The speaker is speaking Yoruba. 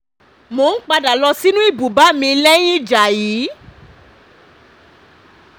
mò ń padà lọ sínú ibùba mi lẹ́yìn ìjà yí